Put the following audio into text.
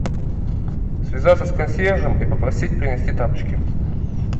связаться с консьержем и попросить принести тапочки